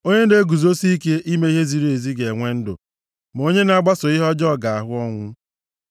Onye na-eguzosi ike ime ihe ziri ezi ga-enwe ndụ; ma onye na-agbaso ihe ọjọọ ga-ahụ ọnwụ.